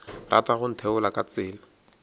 rata go ntheola ka tsela